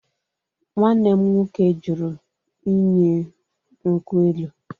Nwanne m nwoke jụrụ inye m nkwụ elụ